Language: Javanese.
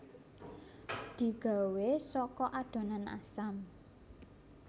Digawé saka adonan asam